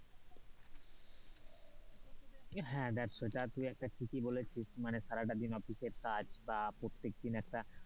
হ্যাঁ, তা তুই একটা ঠিকই বলেছিস মানে সারাদিন অফিসের কাজ বা প্রত্যেক দিন একটা,